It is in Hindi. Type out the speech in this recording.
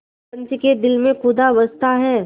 पंच के दिल में खुदा बसता है